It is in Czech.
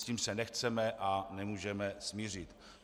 S tím se nechceme a nemůžeme smířit.